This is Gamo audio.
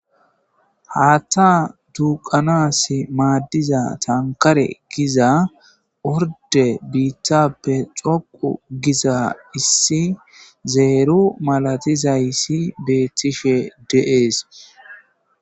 Haatta duuqanassi maadiza tankare giza orde biitappe xoqqu giza issi zero malatizayssi beetishe de'es.